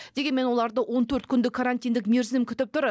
дегенмен оларды он төрт күндік карантиндік мерзім күтіп тұр